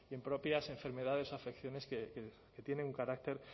y en propias enfermedades o afecciones que tienen un carácter